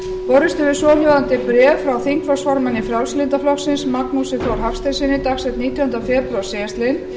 borist hefur svohljóðandi bréf frá þingflokksformanni frjálslynda flokksins magnúsi þór hafsteinssyni dagsett nítjánda febrúar síðastliðinn